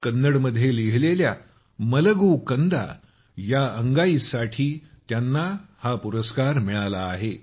कन्नडमध्ये लिहिलेल्या मलगू कन्दा मलगू Kandaया अंगाईसाठी त्यांना हा पुरस्कार मिळाला आहे